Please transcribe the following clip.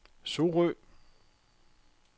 Sorø